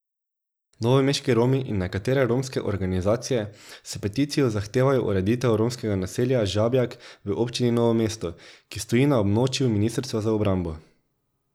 Novomeški Romi in nekatere romske organizacije s peticijo zahtevajo ureditev romskega naselja Žabjak v občini Novo mesto, ki stoji na območju ministrstva za obrambo.